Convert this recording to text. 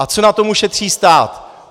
A co na tom ušetří stát?